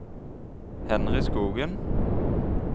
Henry Skogen